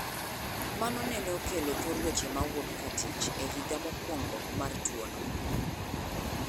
Mano nene okelo thor weche mowuok katich ehiga mokuongo mar tuono